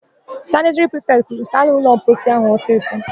Sanịtịrị prifetị kwuru, "saanụ ụlọmposi áhụ̀ ọsịsọ"!